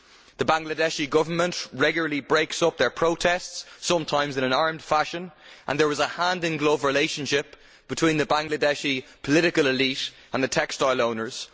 The Bangladeshi Government regularly breaks up their protests sometimes in an armed fashion and there is a hand in glove relationship between the Bangladeshi political elite and the textile owners.